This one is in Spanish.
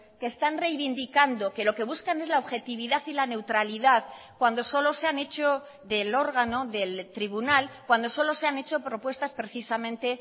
que están reivindicando que lo que buscan es la objetividad y la neutralidad cuando solo se han hecho del órgano del tribunal cuando solo se han hecho propuestas precisamente